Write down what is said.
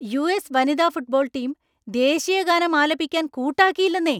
US. വനിതാ football team ദേശീയഗാനം ആലപിക്കാന്‍ കൂട്ടാക്കിയില്ലന്നേ.